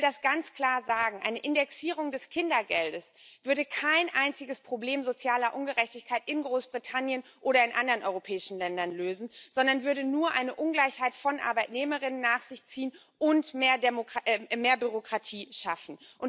Ich will das ganz klar sagen Eine Indexierung des Kindergeldes würde kein einziges Problem sozialer Ungerechtigkeit in Großbritannien oder in anderen europäischen Ländern lösen, sondern würde nur eine Ungleichheit von Arbeitnehmern und Arbeitnehmerinnen nach sich ziehen und mehr Bürokratie schaffen.